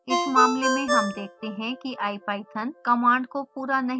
इस मामले में हम देखते हैं कि ipython कमांड का पूरा नहीं करता है